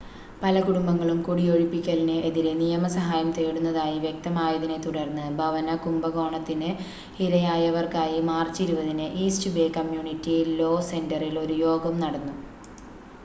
പല കുടുംബങ്ങളും കുടിയൊഴിപ്പിക്കലിന് എതിരെ നിയമ സഹായം തേടുന്നതായി വ്യക്തമായതിനെ തുടർന്ന് ഭവന കുംഭകോണത്തിന് ഇരയായവർക്കായി മാർച്ച് 20-ന് ഈസ്റ്റ് ബേ കമ്മ്യൂണിറ്റി ലോ സെൻ്ററിൽ ഒരു യോഗം നടന്നു